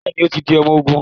Bẹẹni, o tí di ọmọ ogún